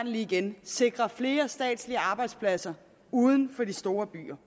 lige igen sikre flere statslige arbejdspladser uden for de store byer